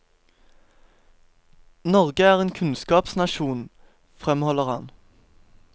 Norge er en kunnskapsnasjon, fremholder han.